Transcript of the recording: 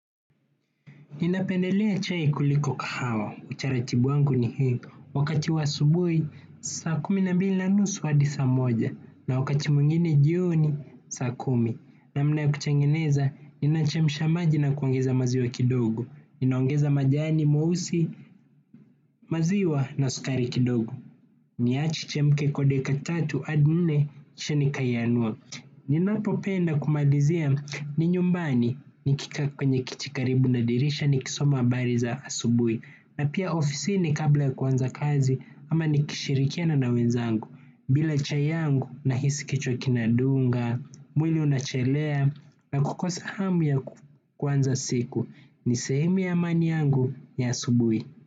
Ninapendelea chai kuliko kahawa, utaratibu wangu ni hii, wakati wa asubuhi, saa kumi na mbili na nusu hadi saa moja, na wakati mwingine jioni, saa kumi, namna ya kutengeneza, ninachemsha maji na kuongeza maziwa kidogo, ninaongeza majani meusi maziwa na sukari kidogo. Niache ichemke kwa dakika tatu hadi nne kisha nikaianua. Ninapopenda kumalizia ni nyumbani nikikaa kwenye kiti karibu na dirisha nikisoma habari za asubuhi. Na pia ofisini kabla ya kuanza kazi ama nikishirikiana na wenzangu. Bila chai yangu nahisi kichwa kinadunga, mwili unachelea na kukosa hamu ya kuanza siku ni sehemu ya amani yangu ya asubuhi.